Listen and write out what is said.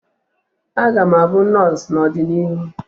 Aga m abụ nọọsụ n'ọdịnihu